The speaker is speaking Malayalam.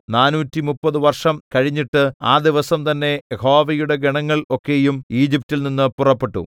നാനൂറ്റിമുപ്പത് 430 വർഷം കഴിഞ്ഞിട്ട് ആ ദിവസം തന്നെ യഹോവയുടെ ഗണങ്ങൾ ഒക്കെയും ഈജിപ്റ്റിൽ നിന്ന് പുറപ്പെട്ടു